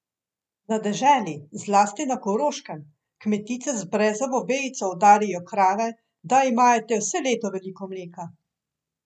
Na deželi, zlasti na Koroškem, kmetice z brezovo vejico udarijo krave, da imajo te vse leto veliko mleka.